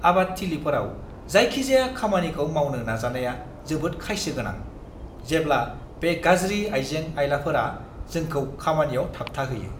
आबाद थिलिफोराव जायखिजाया खामानिखौ मावनो नाजानाया जोबोद खायसो गोनां, जेब्ला बे गाज्रि आइजें-आइलाफोरआ जोंखौ खामानियाव थाबथाहोयो!